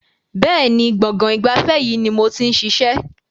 Bẹ́ẹ̀ni, gbọ̀ngàn ìgbafẹ́ yìí ni mo ti ń ṣiṣẹ́.